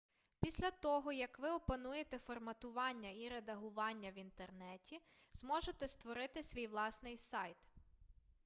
після того як ви опануєте форматування і редагування в інтернеті зможете створити свій власний сайт